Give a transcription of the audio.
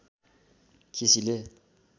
केसीले